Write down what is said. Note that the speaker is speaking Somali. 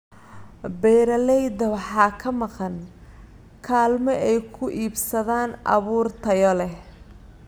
Beeralayda waxaa ka maqan kaalmo ay ku iibsadaan abuur tayo leh.